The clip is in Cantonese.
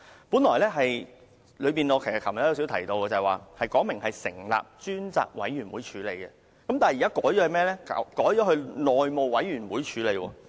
我昨天也略有提及，呈請書原本是要求成立專責委員會處理，但現在則改為由內務委員會處理。